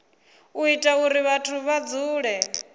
ita uri vhathu vha dzule